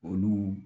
Olu